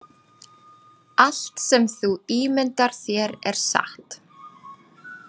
Allt sem þú ímyndar þér er satt